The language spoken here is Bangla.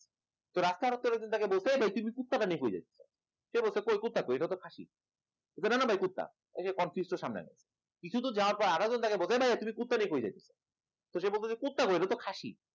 সে রাস্তার লোকজন তাকে বলছে তুই কুত্তারে নিয়ে কই যাস সে বলছে কই কুত্তা কই এটা তো খাসি না না ভাই কুত্তা এই তো সামনে কিছু তো যাওয়ার পর আরেকজন বলে ভাই তুই কুত্তা নিয়ে কই যাস তো সে বলতেছে কুত্তা কই এটা তো খাসি